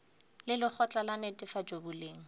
le lekgotla la netefatšo boleng